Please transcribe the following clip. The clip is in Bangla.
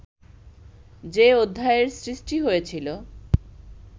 যে অধ্যায়ের সৃষ্টি হয়েছিল